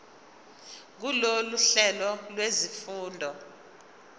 kulolu hlelo lwezifundo